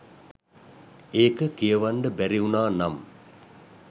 ඒක කියවන්ඩ බැරි උනා නම්